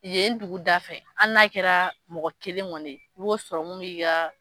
Yen ye duguda fɛ hali n'a kɛra mɔgɔ kelen kɔni, i b'o sɔrɔ mun bi ka